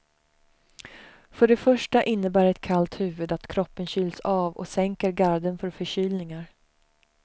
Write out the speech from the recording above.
För det första innebär ett kallt huvud att kroppen kyls av och sänker garden för förkylningar.